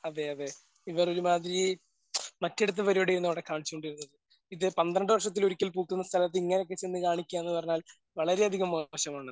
അതെ അതെ ഇവർ ഒരുമാതിരി മറ്റിടത്തെ പരിപാടി ആയിരുന്നു അവിടെ കാണിച്ചുകൊണ്ടിരുന്നത്. ഇത് പന്ത്രണ്ട് വർഷത്തിൽ ഒരിക്കൽ പൂക്കുന്ന സ്ഥലത്ത് ഇങ്ങനെ ഒക്കെ ചെന്ന് കാണിക്കാന്ന് പറഞ്ഞാൽ വളരെ അധികം മോശമാണ് അത്.